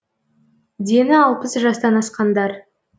дені алпыс жастан асқандар